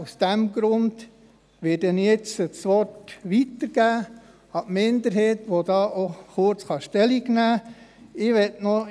Aus diesem Grund werde ich jetzt das Wort an die Minderheit weitergeben, die auch kurz Stellung dazu nehmen kann.